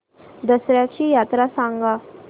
दसर्याची यात्रा सांगा